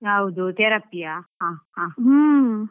ಯಾವ್ದು Therapy ಯಾ? ಹ ಹಾ.